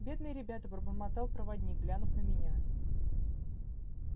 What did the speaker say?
бедные ребята пробормотал проводник глянув на меня